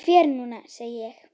Ég fer núna, segi ég.